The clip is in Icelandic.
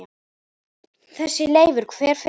Þessi Leifur. hver er hann?